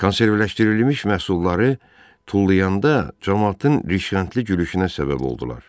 Konservləşdirilmiş məhsulları tullayanda camaatın rıxantılı gülüşünə səbəb oldular.